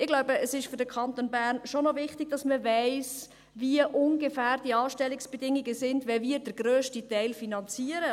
Ich glaube, es ist für den Kanton Bern schon noch wichtig, dass man weiss, wie die Anstellungsbedingungen ungefähr sind, wenn wir den grössten Teil finanzieren.